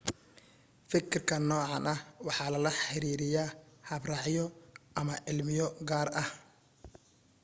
fikirkan noocan ah waxa lala xiriiraya habraacyo ama cilmiyo gaar ah